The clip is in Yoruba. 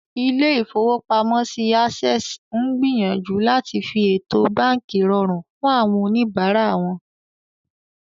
Ilé-ìfowópamọ́sí Access ń gbìyànjú láti fi ètò báànkì rọrùn fún àwọn oníbàárà wọn